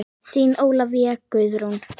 Þín Ólafía Guðrún.